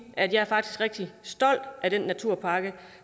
at jeg faktisk er rigtig stolt af den naturpakke